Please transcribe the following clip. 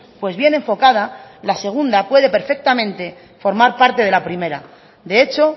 pues bien enfocada la segunda puede perfectamente formar parte de la primera de hecho